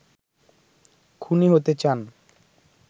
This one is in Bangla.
খুনী হতে চান